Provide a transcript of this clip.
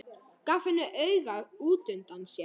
Gaf henni auga útundan sér.